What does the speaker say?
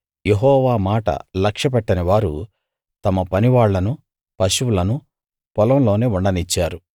యెహోవా మాట లక్ష్యపెట్టనివారు తమ పనివాళ్ళను పశువులను పొలంలోనే ఉండనిచ్చారు